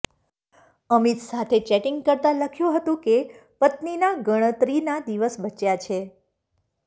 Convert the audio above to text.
અમિત સાથે ચેટિંગ કરતાં લખ્યું હતું કે પત્નીના ગણતરીના દિવસ બચ્યા છે